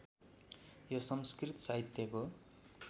यो संस्कृत साहित्यको